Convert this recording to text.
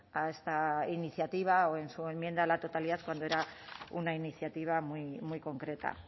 a esta iniciativa o en su enmienda a la totalidad cuando era una iniciativa muy concreta